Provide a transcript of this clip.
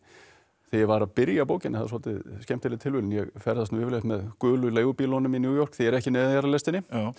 þegar ég var að byrja bókina það er svolítið skemmtileg tilviljun að ég ferðast yfirleitt með gulu leigubílunum í New York þegar ég ekki í neðanjarðarlestinni